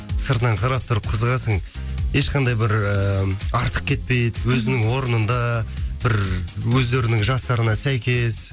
сыртынан қарап тұрып қызығасың ешқандай бір ыыы артық кетпейді өзінің орнында бір өздерінің жастарына сәйкес